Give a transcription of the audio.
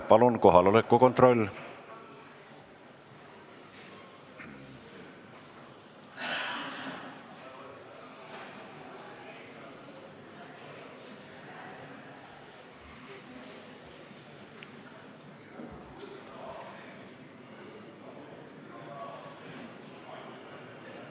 Palun kohaloleku kontroll!